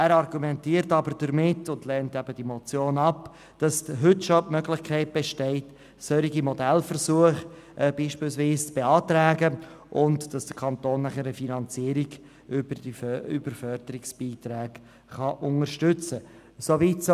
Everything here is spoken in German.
Er argumentiert aber, dass schon heute die Möglichkeit bestehe, solche Modellversuche zu beantragen, und dass der Kanton diese mittels Förderbeiträgen unterstützen könne.